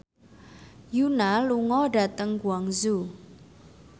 Yoona lunga dhateng Guangzhou